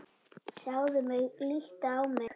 Sjáðu mig, líttu á mig.